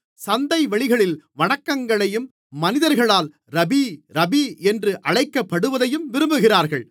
சந்தைவெளிகளில் வணக்கங்களையும் மனிதர்களால் rabbi rabbi என்று அழைக்கப்படுவதையும் விரும்புகிறார்கள்